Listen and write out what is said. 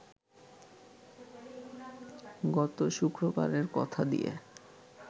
গত শুক্রবারের কথা দিয়ে